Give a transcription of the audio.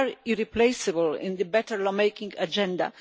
They are irreplaceable in the better law making agenda.